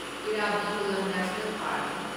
Eravikulam national park